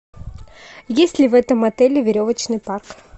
есть ли в этом отеле веревочный парк